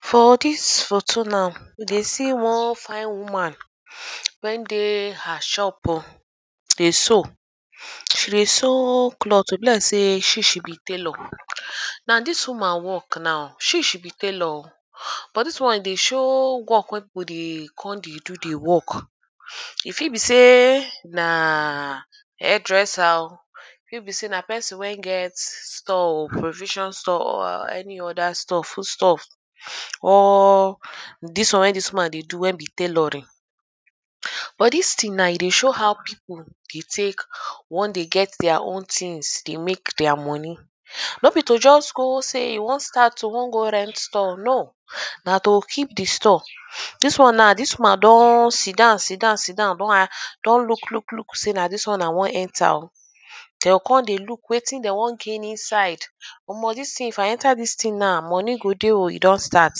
For dis photo now we dey see one fine woman, when dey her shop oh dey sew. She dey sew cloth oh. E be like sey she she be tailor. Now dis woman work now, she she be tailor oh. But dis one e dey show work wey people dey con dey do the work. E fit be sey na hairdresser oh. E fit be sey na person wey get store oh, provision store or any other store, food stuff or dis one wey dis woman dey do wey be tailoring. But dis thing now e dey show how people dey take wan dey get their own things, dey make their money. Ern no be to just go say e wan start oh, e wan go rent store, No. Na to keep the store. Dis one now, dis woman don sit down sit down sit down don ask don look look look say na dis one i wan enter oh. De oh con dey look wetin dem wan gain inside. Omo dis thing, if i enter dis thing now, money go dey oh, e don start.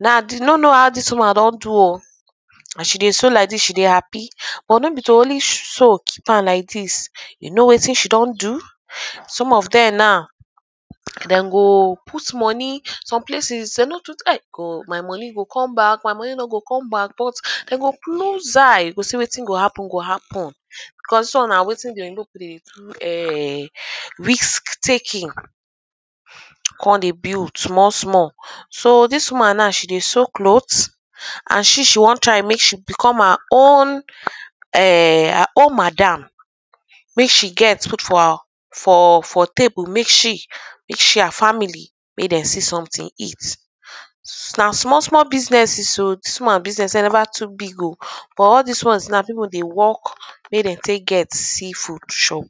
Now de no know how dis woman don do oh. As she dey sew like dis she dey happy but no be to only sew keep am like dis. You know wetin she don do. Some of dem now den go put money. Some places dey no too oh God my money go con back my money no go come back but de go close eyes go say wetin go happen go happen because dis one na wetin the Oyinbo people dey do ern risk taking. Con dey build small small. So dis woman now she dey sew cloth and she she wan try make she become her own ern her own madam. Make she get put for her for for table make she and family make dem see something eat. Na small small businesses oh. Dis woman business wey never too big oh but all dis one now people dey work make dem take get see food chop.